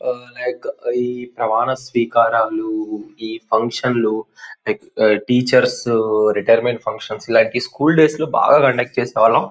Like ఈ ప్రమాణ స్వీకారాలు ఈ ఫంక్షన్ లు లైక్ టీచర్స్ రిటైర్మెంట్ ఫంక్షన్స్ ఇలాంటి స్కూల్ డేస్ లో బాగా కండక్ట్ చేసేవాళ్ళం.